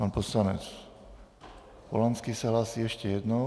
Pan poslanec Polanský se hlásí ještě jednou.